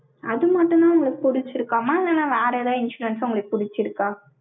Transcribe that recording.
அது மட்டும்தான் உங்களுக்கு பிடிச்சிருக்குமா? இல்லைன்னா, வேற எதாவது insurance உங்களுக்கு பிடிச்சிருக்கா?